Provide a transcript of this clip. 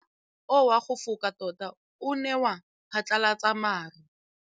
Mowa o wa go foka tota o ne wa phatlalatsa maru.